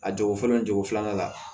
A jogo fɔlɔ ye jogo filanan la